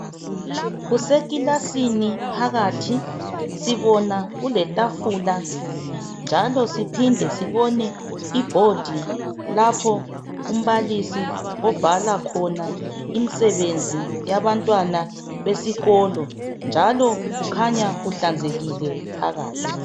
Kusekilasini phakathi, sibona kuletafula njalo siphinde sibone ibhodi lapho umbalisi obhala khona imsebenzi yabantwana besikolo. Njalo kukhanya kuhlanzekile phakathi.